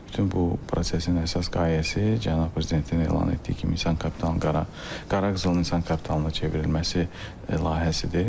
Bütün bu prosesin əsas qayəsi cənab prezidentin elan etdiyi kimi insan kapitalının, qara qızılın insan kapitalına çevrilməsi layihəsidir.